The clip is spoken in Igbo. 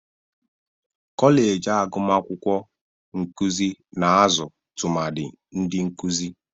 Kọleji agumakwụkwọ nkụzị na-azụ tụmadị ndị nkụzị.